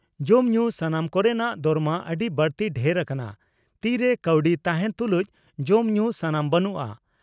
ᱡᱚᱢ ᱧᱩ ᱥᱟᱱᱟᱢ ᱠᱚᱨᱮᱱᱟᱜ ᱫᱚᱨᱢᱟ ᱟᱹᱰᱤ ᱵᱟᱹᱲᱛᱤ ᱰᱷᱮᱨ ᱟᱠᱟᱱᱟ, ᱛᱤ ᱨᱮ ᱠᱟᱹᱣᱰᱤ ᱛᱟᱦᱮᱸᱱ ᱛᱩᱞᱩᱡ ᱡᱚᱢ ᱧᱩ ᱥᱟᱢᱟᱱ ᱵᱟᱹᱱᱩᱜᱼᱟ ᱾